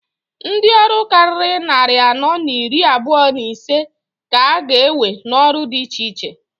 Ndi ọrụ kariri nnarị anọọ n'iri abụa n'isee k'a ga ewe n'ọrụ dị iche iche.